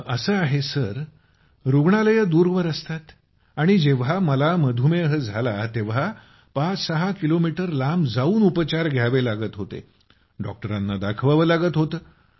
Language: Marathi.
असं आहे सर जी रूग्णालये दूरवर असतात आणि जेव्हा मला मधुमेह झाला तेव्हा ५६ किलोमीटर लांब जाऊन उपचार घ्यावे लागत होते डॉक्टरांना दाखवावं लागत होतं